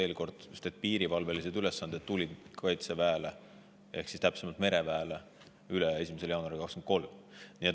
Veel kord: sellepärast, et piirivalvelised ülesanded tulid Kaitseväele ehk täpsemalt mereväele 1. jaanuaril 2023 üle.